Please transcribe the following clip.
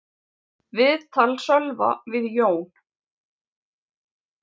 Viðtal Sölva við Jón